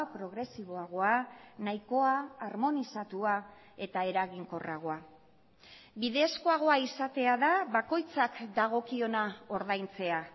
progresiboagoa nahikoa harmonizatua eta eraginkorragoa bidezkoagoa izatea da bakoitzak dagokiona ordaintzea